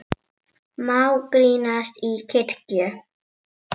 Má grínast í kirkju?